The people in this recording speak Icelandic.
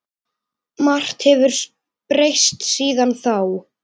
Margt hefur breyst síðan þá.